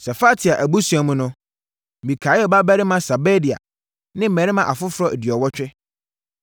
Sefatia abusua mu no: Mikael babarima Sebadia ne mmarima afoforɔ aduɔwɔtwe.